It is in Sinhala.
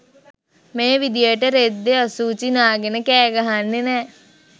මේ විදියට රෙද්දෙ අසූචි නාගෙන කෑ ගහන්නෙ නෑ